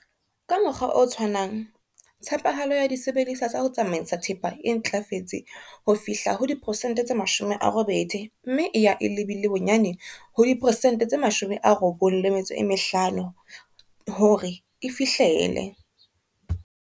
Ka mokgwa o tshwanang, tshepahalo ya disebediswa tsa ho tsamaisa thepa e ntlafetse ho fihla ho diperesente tse 80 mme e ya e lebile bonyane ho diperesente tse 95 hore e fihlele.